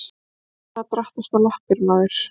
Svona drattastu á lappir maður.